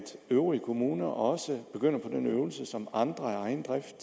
øvrige kommuner også begynder på den øvelse som andre af egen drift